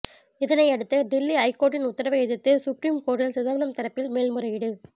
இதனையடுத்து டில்லி ஐகோர்ட்டின் உத்தரவை எதிர்த்து சுப்ரீம் கோர்ட்டில் சிதம்பரம் தரப்பில் மேல்முறையீடு